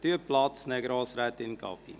– Nehmen Sie Platz, Grossrätin Gabi.